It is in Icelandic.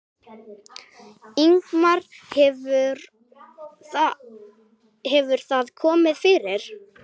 Ingimar: Hefur það komið fyrir?